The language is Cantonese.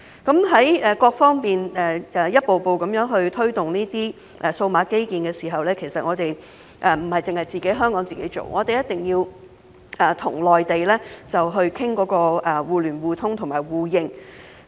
在各方面一步步地推動這些數碼基建時，其實並不是由香港自己做，而是必須與內地商討互聯互通互認。